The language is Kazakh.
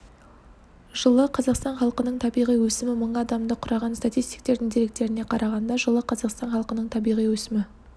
жылы қазақстан халқының табиғи өсімі мың адамды құраған статистиктердің деректеріне қарағанда жылы қазақстан халқының табиғи өсімі